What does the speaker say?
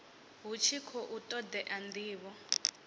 hu tshi khou todea ndivho